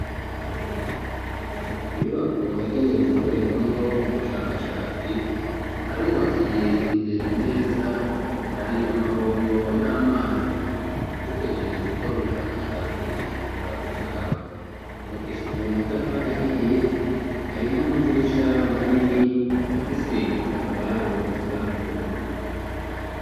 Inyubako yagenewe gukorerwamwo ubushakashatsi harubakiye imbere neza hari amabombo y'amazi upejije gukora ubushakashatsi ashobora gukaraba mubakishijwe matafarahiye hari n'amadirisha ma nini afie se gitambaro gisa n'ubururu.